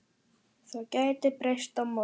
Það gæti breyst á morgun.